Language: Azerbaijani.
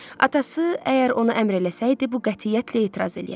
Atası, əgər ona əmr eləsəydi, bu qətiyyətlə etiraz eləyərdi.